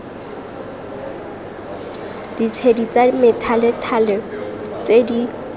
ditshedi tsa methalethale tse di